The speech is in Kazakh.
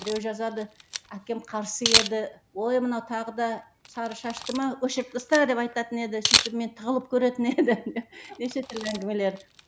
біреу жазады әкем қарсы еді ой мынау тағы да сары шашты ма өшіріп таста деп айтатын еді сөйтіп мен тығылып көретін едім деп неше түрлі әңгімелер